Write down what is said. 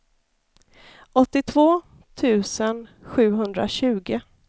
åttiotvå tusen sjuhundratjugo